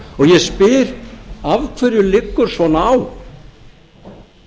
ég spyr af hverju liggur svona á